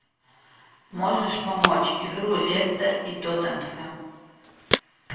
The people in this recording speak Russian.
можешь помочь игру лестер и тоттенхэм